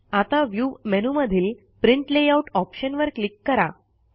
आता व्ह्यू मेनूमधील print layout ऑप्शनवर क्लिक करा